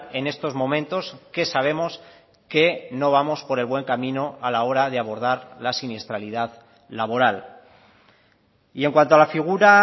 en estos momentos que sabemos que no vamos por el buen camino a la hora de abordar la siniestralidad laboral y en cuanto a la figura